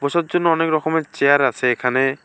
বসার জন্য অনেক রকমের চেয়ার আসে এখানে।